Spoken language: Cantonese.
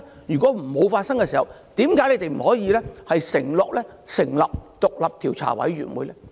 如果沒有發生，為何不能承諾成立獨立調查委員會呢？